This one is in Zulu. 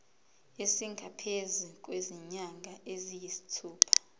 esingaphezu kwezinyanga eziyisithupha